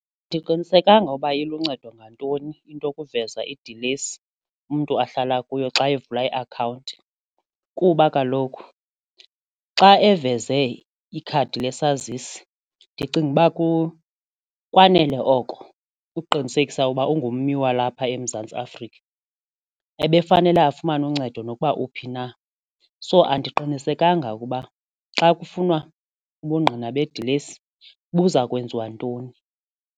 Andiqinisekanga ukuba iluncedo ngantoni into kuveza idilesi umntu ahlala kuyo xa evula iakhawunti kuba kaloku xa eveze ikhadi lesazisi ndicinga uba kwanele oko ukuqinisekisa ukuba ungummi walapha eMzantsi Afrika ebekufanele afumane uncedo nokuba uphi na so andiqinisekanga ukuba xa kufunwa ubungqina bedilesi buza kwenziwa ntoni.